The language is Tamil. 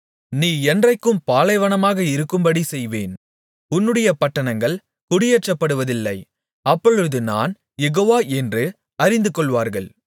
நீ என்றைக்கும் பாலைவனமாக இருக்கும்படி செய்வேன் உன்னுடைய பட்டணங்கள் குடியேற்றப்படுவதில்லை அப்பொழுது நான் யெகோவா என்று அறிந்துகொள்வார்கள்